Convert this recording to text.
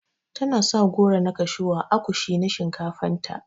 Tana sa goro na kashew ã akushi na shinkafan ta.